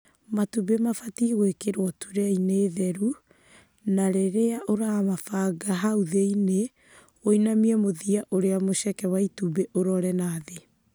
Matumbĩ mabatiĩ gwĩkĩrwo turee-inĩ theru ya matumbĩ na rĩrĩa ũramabanga hau thĩinĩ ũinamie mũthia ũrĩa mũceke wa itumbĩ ũrore na thĩ.